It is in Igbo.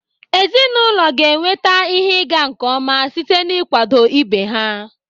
Ezinụlọ ga-enweta ihe ịga nke ọma site na ịkwado ibe ha.